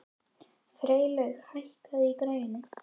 Freylaug, hækkaðu í græjunum.